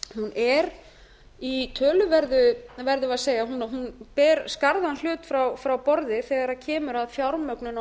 er í töluverðu verðum við að segja hún ber skarðan hlut frá borði þegar kemur að fjármögnun og